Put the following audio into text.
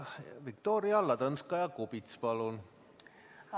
Viktoria Ladõnskaja-Kubits, palun!